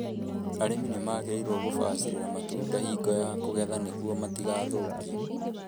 Arĩmi nĩ magĩrĩirũo gũbacĩrĩra matunda hingo ya kũgetha niguo matigathũkie